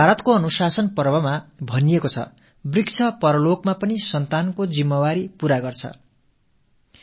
மஹாபாரதத்தின் அனுசாசன பர்வத்தில் மரங்கள் பரலோகத்திலும் கூட மக்கட்செல்வத்தின் கடமைகளை ஆற்றுகின்றன என்று கூறப்பட்டிருக்கிறது